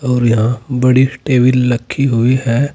और यहां बड़ी सी टेबल लखी हुई है।